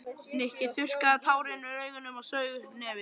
Nikki þurrkaði tárin úr augunum og saug upp í nefið.